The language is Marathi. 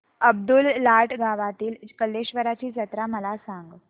अब्दुललाट गावातील कलेश्वराची जत्रा मला सांग